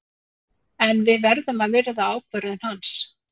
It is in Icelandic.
En við verðum að virða ákvörðun hans.